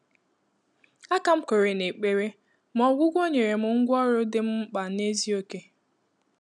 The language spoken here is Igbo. A kà m kwèrè n’ékpèré, mà ọ́gwụ́gwọ́ nyèrè m ngwá ọ́rụ́ dị́ m mkpà n’ézìókè.